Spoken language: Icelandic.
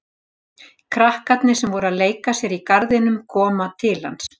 Krakkarnir sem voru að leika sér í garðinum koma til hans.